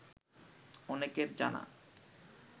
অনেকের জানা